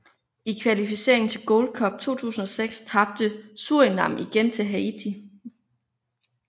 I kvalificeringen til Gold Cup i 2006 tabte Surinam igen til Haiti